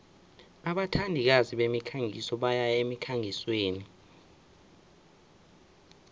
abathandikazi bemikhangiso bayaya emkhangisweni